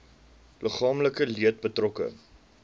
liggaamlike leed betrokke